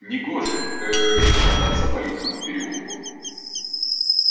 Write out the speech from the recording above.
негоже ээ шататься по людному переулку